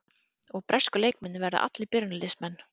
Og bresku leikmennirnir verða allir byrjunarliðsmenn?